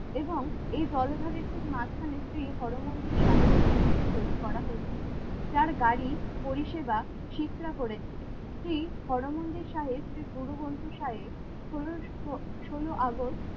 এবং এই জলধরের ঠিক মাঝখানে শ্রী হরমন্দির সাহেবের বিল্ডিং তৈরি করা হয়েছিল। যার গাড়ি পরিষেবা ফিতরা করেছিলেন শ্রী হরমন্দির সাহেব শ্রী গুরুগ্রন্থ সাহেব ষোলোশো ষোলো আগস্ট